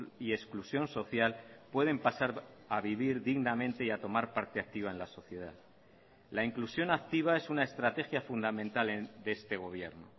y exclusión social pueden pasar a vivir dignamente y a tomar parte activa en la sociedad la inclusión activa es una estrategia fundamental de este gobierno